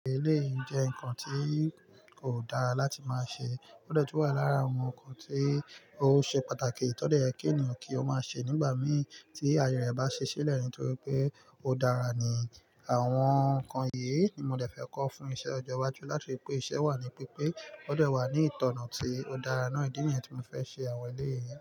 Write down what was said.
Eléyì jẹ́ nǹkan tí kò dára láti máa ṣe. Ó gbọ́dọ̀ túbọ̀ wà lára àwọn ǹkan tí ó ṣe pàtàkì tọ́ dẹ̀ yẹ kí ènìyàn kí ó máa ṣe nígbà mì tí ayé rẹ̀ bá ṣe ṣílẹ̀ ni nítorí pé ó dára ni. Àwọn ǹkan yìí ni mo dẹ̀ fẹ́ kọ fún iṣẹ́ ọjọ́ iwájú láti lè pé iṣẹ́ wà ní pípé, ó dé wà ní ìtọ̀nà tí ó dára náà. Ìdí nìyẹn tí mo fẹ́ ṣe àwọn eléyì.